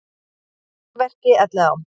Staðnir að verki í Elliðaám